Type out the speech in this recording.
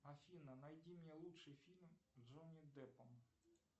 афина найди мне лучший фильм с джонни деппом